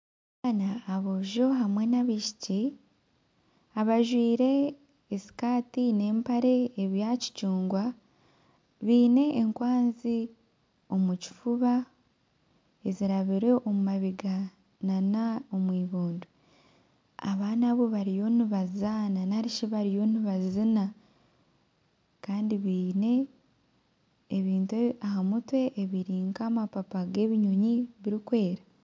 Aboojo hamwe n'abaishiki abajwire esikati n'empare ebya kicungwa biine enkwanzi omu kifuba ezirabire omu mabega na n'omwibondo. Abaana abo bariyo nibazaana narishi bariyo nibazina kandi biine ebintu aha mutwe ebiri nk'amapapa g'ebinyonyi birikwera.